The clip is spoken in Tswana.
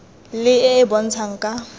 le e e bontshang ka